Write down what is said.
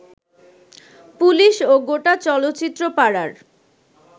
police ও গোটা চলচ্চিত্র পাড়ার